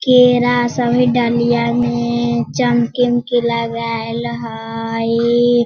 केरा है सब डलिया में चमकी-उमकी लगाईल हईई।